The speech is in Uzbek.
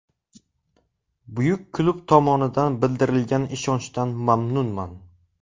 Buyuk klub tomonidan bildirilgan ishonchdan mamnunman.